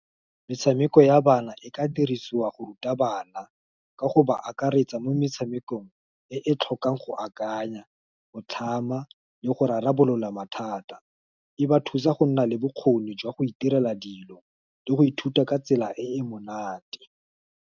Metshameko ya bana, e ka dirisiwa go ruta bana, ka go ba akaretsa mo metshamekong, e tlhokang go akanya, o tlhama, le go rarabolola mathata, e ba thusa go nna le bokgoni, jwa go itirela dilo, le go ithuta ka tsela e e monate.